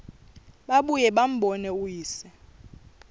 babuye bambone uyise